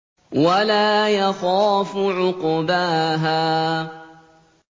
وَلَا يَخَافُ عُقْبَاهَا